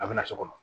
A bɛ na so kɔnɔ